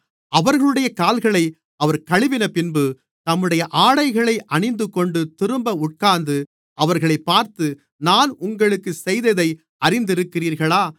அவர்களுடைய கால்களை அவர் கழுவினபின்பு தம்முடைய ஆடைகளை அணிந்துகொண்டு திரும்ப உட்கார்ந்து அவர்களைப் பார்த்து நான் உங்களுக்குச் செய்ததை அறிந்திருக்கிறீர்களா